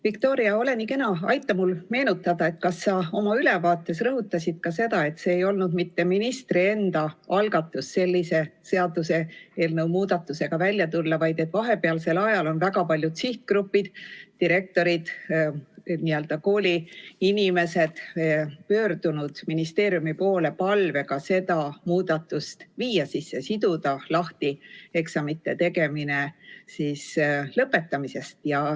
Viktoria, ole nii kena, aita mul meenutada, kas sa oma ülevaates rõhutasid seda, et see ei olnud mitte ministri enda algatus sellise seaduseelnõu muudatusega välja tulla, vaid et vahepealsel ajal on paljud sihtgrupid – direktorid, n-ö kooliinimesed pöördunud ministeeriumi poole palvega see muudatus teha, siduda lahti eksamite tegemine lõpetamisest.